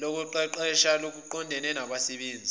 lokuqeqesha oluqondene nabasebenzi